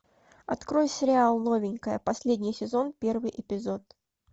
открой сериал новенькая последний сезон первый эпизод